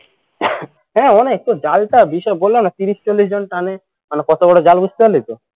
হ্যাঁ অনেক তোর জালটার বিষয়ে বললাম না তিরিশ চল্লিশ জন টানে মানে কত বড় জাল বুঝতে পারলি তো